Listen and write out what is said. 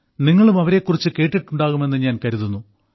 നിങ്ങളും അവരെക്കുറിച്ച് കേട്ടിട്ടുണ്ടാകുമെന്ന് ഞാൻ കരുതുന്നു